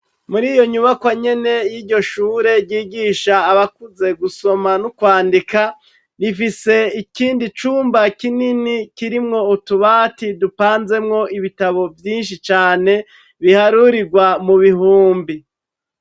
Muriyo nyubakwa nyene yiryo shure ryigisha abakuze gusoma no kwandika, rifise ikindi cumba kinini kirimwo utubati dupanzemwo ibitabo vyinshi cane biharurigwa mubihumbi.